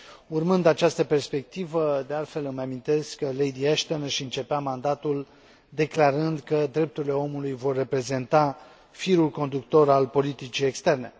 Urmând această perspectivă, de altfel, îmi amintesc că Lady Ashton își începea mandatul declarând că drepturile omului vor reprezenta firul conductor al politicii externe.